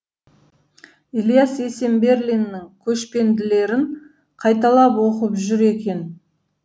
ілияс есенберлиннің көшпенділерін қайталап оқып жүр екен